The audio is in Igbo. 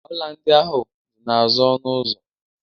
Ọla ndị ahụ dị n'azụ ọnụ ụzọ